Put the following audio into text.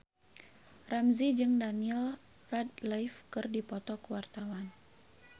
Ramzy jeung Daniel Radcliffe keur dipoto ku wartawan